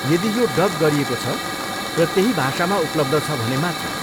यदि यो डब गरिएको छ र त्यही भाषामा उपलब्ध छ भने मात्र।